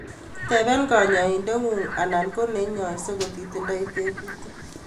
Tepee kanyoindet ngung anan ko nenyoisei ko ti tindoi tebutik.